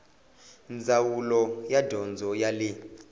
ndzawulo ya dyondzo ya le